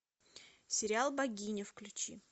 сериал богиня включи